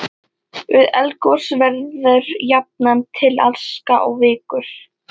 Við eldgos verður jafnan til aska og vikur.